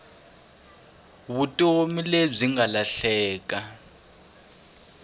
vutomi lebyi nga lahleka